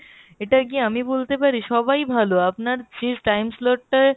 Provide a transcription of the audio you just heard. এটা কি আমি বলতে পারি সবাই ভালো আপনার fees time slot টার,